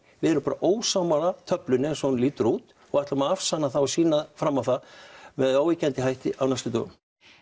við erum ósammála töflunni eins og hún lítur út og ætlum að afsanna og sýna fram á það með óyggjandi hætti á næstu dögum